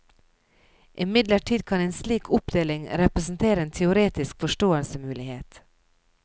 Imidlertid kan en slik oppdeling representere en teoretisk forståelsesmulighet.